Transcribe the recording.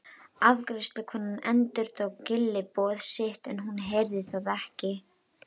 Afgreiðslukonan endurtók gylliboð sitt en hún heyrði það ekki.